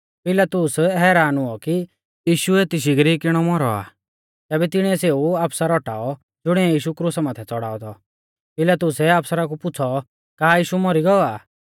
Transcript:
पिलातुस हैरान हुऔ कि यीशु एती शिगरी किणौ मौरौ आ तैबै तिणिऐ सेऊ आफसर औटाऔ ज़ुणिऐ यीशु क्रुसा माथै च़ड़ाऔ थौ पिलातुसै आफसरा कु पुछ़ौ का यीशु मौरी गौ आ